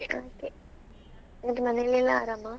ಹಾಗೆ ಮತ್ತೆ ಮನೇಲೆಲ್ಲಾ ಆರಾಮಾ?